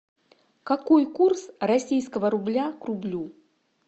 какой курс российского рубля к рублю